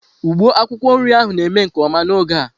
Ugbo akwukwo nri ahu na-eme nke oma n'oge a.